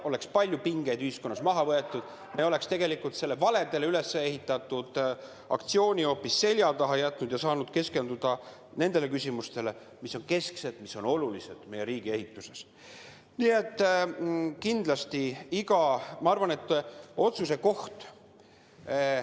–, oleks palju pingeid ühiskonnas maha võetud ja me oleks saanud selle tegelikult valedele ülesehitatud aktsiooni selja taha lükata ja keskenduda nendele küsimustele, mis on kesksed, mis on meie riigis väga olulised.